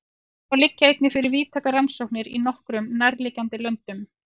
Þá liggja einnig fyrir víðtækar rannsóknir í nokkrum nærliggjandi löndum.